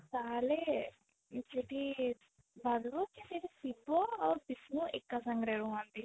ତାହାଲେ ଯଦି ସେଠି ଶିବ ଆଉ ବିଷ୍ଣୁ ଏକା ସାଙ୍ଗରେ ରୁହନ୍ତି